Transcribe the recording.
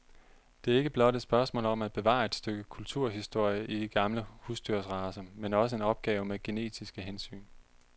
Det er ikke blot et spørgsmål om at bevare et stykke kulturhistorie i de gamle husdyrsracer, det er også en opgave med genetiske hensyn.